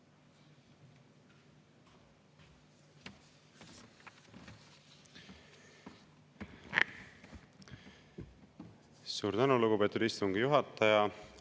Suur tänu, lugupeetud istungi juhataja!